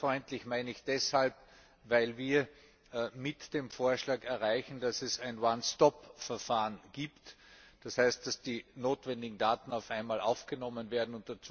Bürgerfreundlich meine ich deshalb, weil wir mit dem Vorschlag erreichen, dass es ein One stop Verfahren gibt, das heißt, dass die notwendigen Daten auf einmal aufgenommen werden.